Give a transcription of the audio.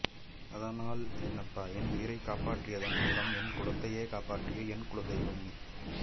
அதனால் என்னப்பா என் உயிரை காப்பாற்றியதன் மூலம் என் குலத்தையே காப்பாற்றிய என் குல தெய்வம் நீ